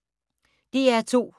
DR2